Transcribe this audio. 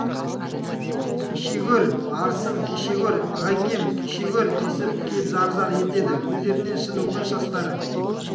кеше гөр арысым кеше гөр ағакем кеше гөр десіп кеп зар-зар етеді көздерінен шын өкініш жастары